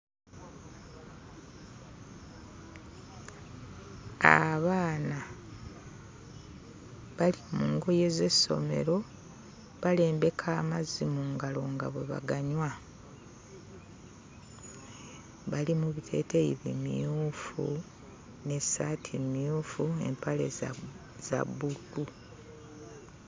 Abaana bali mu ngoye z'essomero, balembeka amazzi mu ngalo nga bwe baganywa. Bali mu biteeteeyi bimyufu n'essaati mmyufu, empale za... za bbululu.